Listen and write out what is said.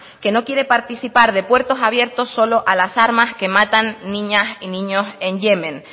que no quiere participar de puertos abiertos solo a las armas que matan niñas y niños en yemen